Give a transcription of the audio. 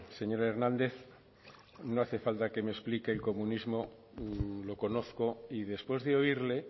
señor hernández no hace falta que me explique el comunismo lo conozco y después de oírle